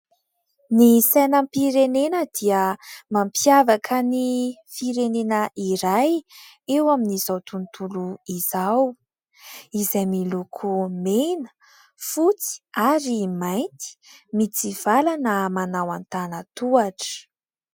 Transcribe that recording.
Ny sainampirenena dia mampiavaka ny firenena iray eo amin'izao tontolo izao, izay miloko mena fotsy ary mainty, mitsivalana manao antanantohatra.